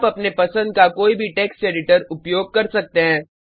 आप अपने पसंद का कोई भी टेक्स्ट एडिटर उपयोग कर सकते हैं